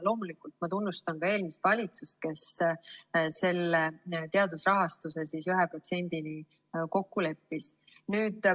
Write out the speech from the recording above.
Loomulikult, ma tunnustan ka eelmist valitsust, kes selle teaduse rahastuse 1% kokku leppis.